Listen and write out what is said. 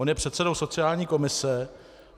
On je předsedou sociální komise.